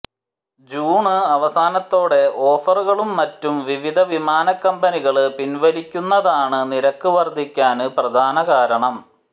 June അവസാനത്തോടെ ഓഫറുകളും മറ്റും വിവിധ വിമാന കമ്പനികള് പിന്വലിക്കുന്നതാണ് നിരക്ക് വര്ധിക്കാന് പ്രധാന കാരണം